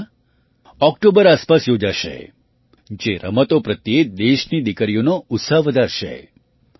આ સ્પર્ધા ઑક્ટોબર આસપાસ યોજાશે જે રમતો પ્રત્યે દેશની દીકરીઓનો ઉત્સાહ વધારશે